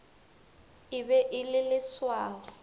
e be e le leswao